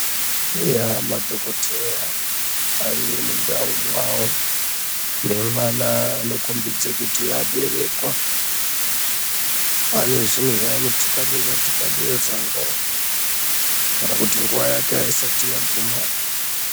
Madhogodheya arimuntawo mawo nemwana anokombidze kuti aberekwa anezvintu zvaanotikabeza tikabeza kana kuti nguva yake hayisati yaguma.